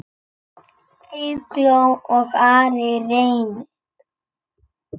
Eygló og Ari Reynir.